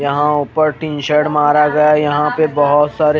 यहा पर ऊपर टीसर्ट महाराजा यहा पे बहोत सारे--